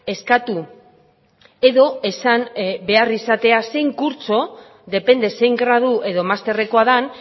eskatu edo esan behar izatea zein kurtso depende zein gradu edo masterrekoa den